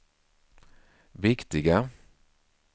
viktiga